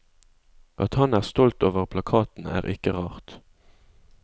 At han er stolt over plakaten er ikke rart.